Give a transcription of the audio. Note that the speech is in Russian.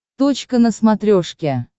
точка на смотрешке